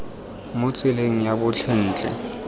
mo tseleng ya botlhe ntle